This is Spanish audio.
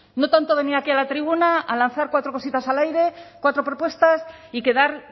no tanto venir aquí a la tribuna a lanzar cuatro cositas al aire cuatro propuestas y quedar